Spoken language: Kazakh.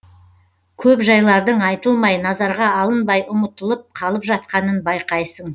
көп жайлардың айтылмай назарға алынбай ұмытылып қалып жатқанын байқайсың